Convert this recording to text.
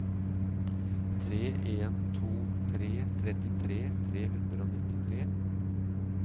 tre en to tre trettitre tre hundre og nittitre